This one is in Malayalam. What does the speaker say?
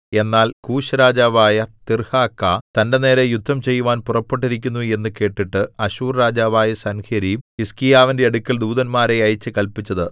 എന്നാൽ കൂശ്‌രാജാവായ തിർഹാക്ക തന്റെ നേരെ യുദ്ധം ചെയ്യുവാൻ പുറപ്പെട്ടിരിക്കുന്നു എന്നു കേട്ടിട്ട് അശ്ശൂർ രാജാവായ സൻഹേരീബ് ഹിസ്കീയാവിന്റെ അടുക്കൽ ദൂതന്മാരെ അയച്ചു കല്പിച്ചത്